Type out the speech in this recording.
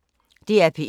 DR P1